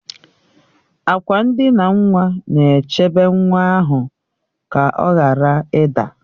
Akwa ndina nwa na-echebe nwa ahụ ka ọ ghara ịda